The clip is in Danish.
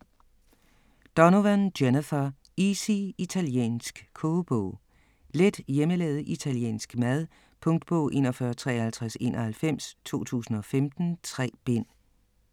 Donovan, Jennifer: Easy italiensk kogebog Let hjemmelavet italiensk mad. Punktbog 415391 2015. 3 bind.